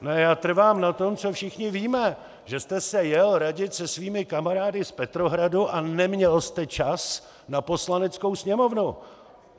Já trvám na tom, co všichni víme, že jste se jel radit se svými kamarády z Petrohradu a neměl jste čas na Poslaneckou sněmovnu!